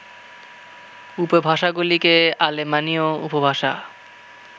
উপভাষাগুলিকে আলেমানীয় উপভাষা